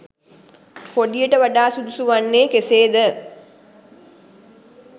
කොඩියට වඩා සුදුසු වන්නේ කෙසේද?